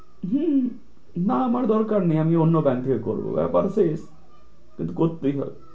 হম না আমার দরকার নেই আমি Bank থেকে করব ব্যাপার শেষ কিন্তু করতেই হবে।